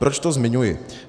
Proč to zmiňuji.